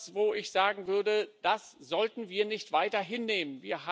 Und das ist etwas, wo ich sagen würde Das sollten wir nicht weiter hinnehmen.